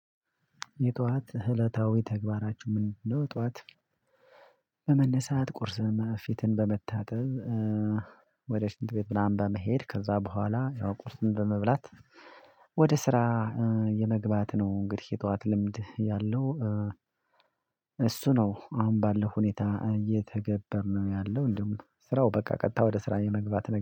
የጧት እለታዊ ተግባራችሁ ምንድነው? ጧት በመነሳት ቁርስ እና ፊትን በመታጠብ ወደ ሽንት ቤት ምናምን በመሄድ ከዛ በኋላ ያው ቁርስን በመብላት ወደ ስራ የመግባት ነው እንግዲህ የጠዋት ልምድ ያለው። እሱ ነው አሁን ባለው ሁኔታ እየተገበርን ነው ያለው እንደውም ስራው በቃ ቀጥታ ወደ ስራ የመግባት